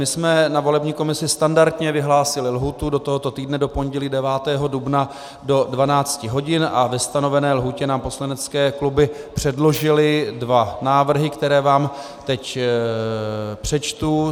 My jsme na volební komisi standardně vyhlásili lhůtu do tohoto týdne, do pondělí 9. dubna do 12 hodin, a ve stanovené lhůtě nám poslanecké kluby předložily dva návrhy, které vám teď přečtu.